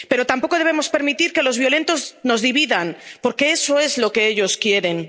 Pero tampoco debemos permitir que los violentos nos dividan, porque eso es lo que ellos quieren.